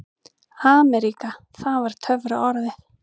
AMERÍKA það var töfraorðið.